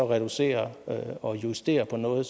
reducere det og justere på noget